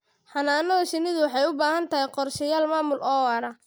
Xannaanada shinnidu waxay u baahan tahay qorshayaal maamul oo waara.